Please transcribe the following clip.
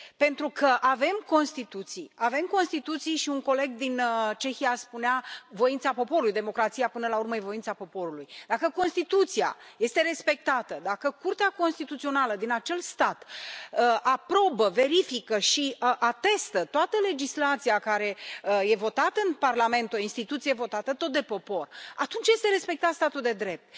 Pentru că avem constituții, avem constituții și un coleg din Cehia spunea voința poporului, democrația, până la urmă, e voința poporului dacă constituția este respectată, dacă Curtea Constituțională din acel stat aprobă, verifică și atestă toată legislația care e votată în Parlament o instituție votată tot de popor atunci este respectat statul de drept.